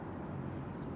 Amma hələ ki gedir.